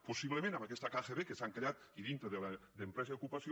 possiblement amb aquesta kgb que s’han creat i dintre d’empresa i ocupació